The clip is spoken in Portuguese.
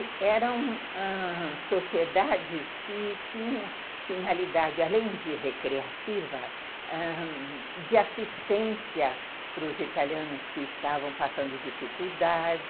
E eram sociedades que tinham finalidade, além de recreativa, de assistência para os italianos que estavam passando dificuldade,